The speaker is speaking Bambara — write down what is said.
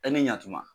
E ni ɲakuma